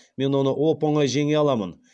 мен оны оп оңай жеңе аламын